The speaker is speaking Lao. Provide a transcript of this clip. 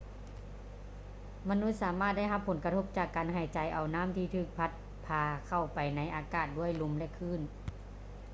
ມະນຸດສາມາດໄດ້ຮັບຜົນກະທົບຈາກການຫາຍໃຈເອົານໍ້າທີ່ຖືກພັດພາເຂົ້າໄປໃນອາກາດດ້ວຍລົມ ແລະ ຄື້ນ